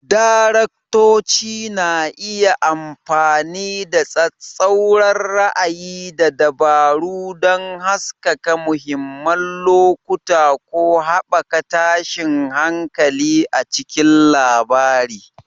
Daraktoci na iya amfani da tsattsauran ra'ayi da dabaru don haskaka mahimman lokuta ko haɓaka tashin hankali a cikin labari.